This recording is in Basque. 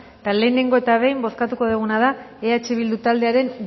eta lehengo eta behin bozkatuko duguna da eh bildu taldearen